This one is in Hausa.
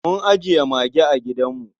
Mun ajiye mage a gidanmu.